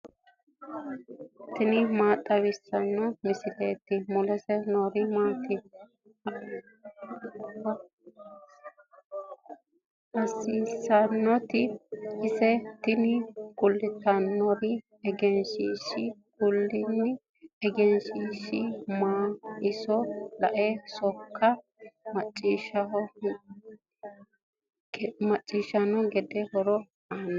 tini maa xawissanno misileeti ? mulese noori maati ? hiissinannite ise ? tini kultannori egenshiishshaho. kuni egenshiishshi mannu iso lae shiqe macciishshanno gede horo aannoho.